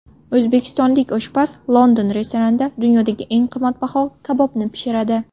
O‘zbekistonlik oshpaz London restoranida dunyodagi eng qimmatbaho kabobni pishiradi .